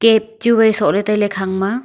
cap chu wai soh ley tai ley khang ma.